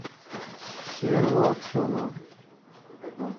серого аксенова